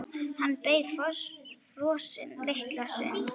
Hann beið frosinn litla stund.